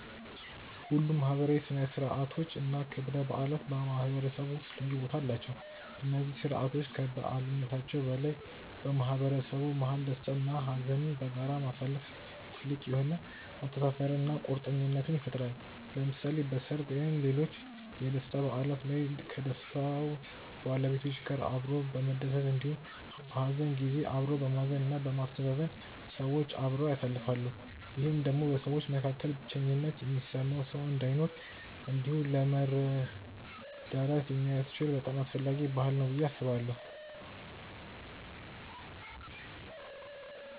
ሁሉም ማህበራዊ ሥነ ሥርዓቶች እና ክብረ በዓላት በማህበረሰቡ ውስጥ ልዩ ቦታ አላቸው። እነዚህ ስርዓቶች ከበዓልነታቸው በላይ በማህበረሰቡ መሀል ደስታ እና ሀዘንን በጋራ ማሳለፋ ጥልቅ የሆነ መተሳሰርን እና ቁርኝትን ይፈጥራል። ለምሳሌ በሰርግ ወይም ሌሎች የደስታ በዓላት ላይ ከደስታው ባለቤቶች ጋር አብሮ በመደሰት እንዲሁም በሀዘን ጊዜ አብሮ በማዘን እና በማስተዛዘን ሰዎች አብረው ያሳልፋሉ። ይህም ደግሞ በሰዎች መካከል ብቸኝነት የሚሰማው ሰው እንዳይኖር እንዲሁም ለመረዳዳት ስለሚያስችል በጣም አስፈላጊ ባህል ነው ብዬ አስባለሁ።